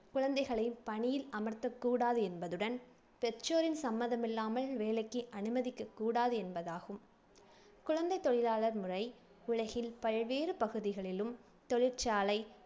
குழந்தைகளைப் பணியில் அமர்த்தக்கூடாது என்பதுடன், பெற்றோரின் சம்மதமில்லாமல் வேலைக்கு அனுமதிக்கக்கூடாது என்பதாகும். குழந்தைத் தொழிலாளர் முறை உலகில் பல்வேறு பகுதிகளிலும், தொழிற்சாலை